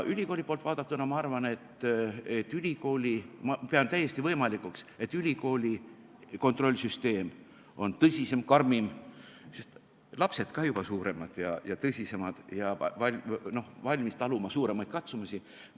Ülikooli poolt vaadatuna ma pean täiesti võimalikuks, et ülikooli kontrollsüsteem on tõsisem, karmim, sest lapsed ka juba suuremad ja tõsisemad ja valmis taluma suuremaid katsumusi.